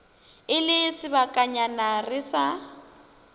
e le sebakanyana re sa